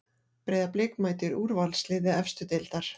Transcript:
Breiðablik mætir úrvalsliði efstu deildar